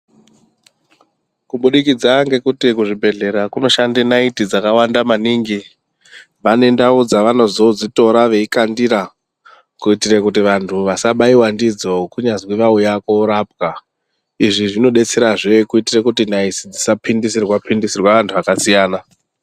Kubudikidza ngekuti kuzvibhedhlera kunoshande naiti dzakawanda maningi, vanendau dzevanozodzitora veikandira kuitire kuti vantu vasabaiwe ndidzo kunyazwi vauya korapwa, izvi zvinodetserazve kuitira kuti naiti dzisa phindisirwa, phindisirwa vantu vakasiyana.